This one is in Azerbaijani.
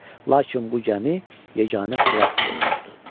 Lakin bu gəmi yeganə xilas yolumuzdur.